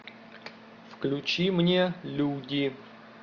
включи мне люди